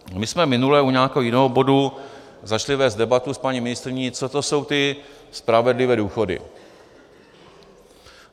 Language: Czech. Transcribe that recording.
My jsme minule u nějakého jiného bodu začali vést debatu s paní ministryní, co to jsou ty spravedlivé důchody.